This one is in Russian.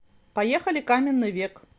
поехали каменный век